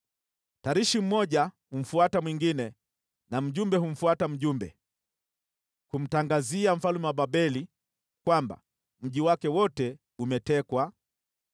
Tarishi mmoja humfuata mwingine, na mjumbe humfuata mjumbe, kumtangazia mfalme wa Babeli kwamba mji wake wote umetekwa,